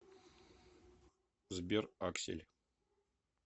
сбер аксель